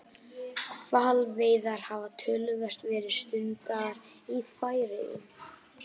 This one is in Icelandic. Hvalveiðar hafa töluvert verið stundaðar í Færeyjum.